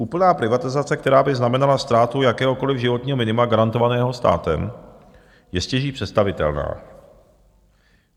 Úplná privatizace, která by znamenala ztrátu jakéhokoliv životního minima garantovaného státem, je stěží představitelná.